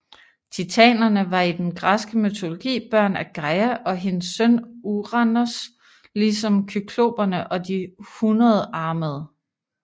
Titanerne var i den græske mytologi børn af Gaia og hendes søn Uranos ligesom kykloperne og de hundredarmede